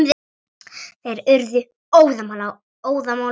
Þeir urðu óðamála og æstir.